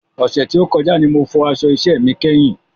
Ọ̀sẹ̀ tí ó kọjá ní mo fọ aṣọ iṣẹ mi kẹ́yìn